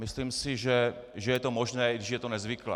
Myslím si, že je to možné, i když je to nezvyklé.